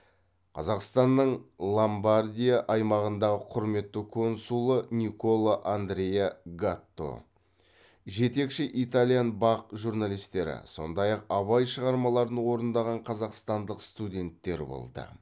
қазақстанның ломбардия аймағындағы құрметті консулы николо андреа гатто жетекші итальян бақ журналистері сондай ақ абай шығармаларын орындаған қазақстандық студенттер болды